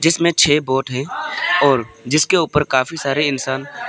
इसमें छह वोट हैंऔर जिसके ऊपर काफी सारे इंसान--